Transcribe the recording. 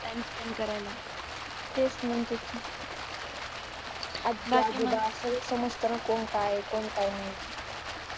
time spent करायला तेच म्हणते की आपल्या आजूबाजूला समजतं ना कोण काय आहे कोण काय नाही